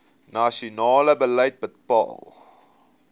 nasionale beleid bepaal